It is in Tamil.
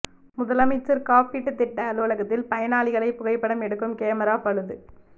முதலைமைச்சர் காப்பீட்டு திட்ட அலுவலகத்தில் பயனாளிகளை புகைப்படம் எடுக்கும் கேமரா பழுது